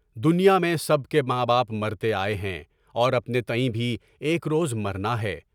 دنیا میں سب کے ماں باپ مرتے آئے ہیں، اور اپنے تئیں بھی ایک روز مرنا ہے۔